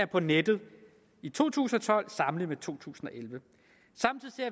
på nettet i to tusind og tolv sammenlignet to tusind og elleve